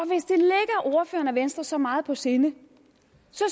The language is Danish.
venstre så meget på sinde